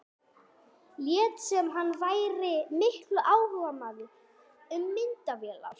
Lét sem hann væri mikill áhugamaður um myndavélar.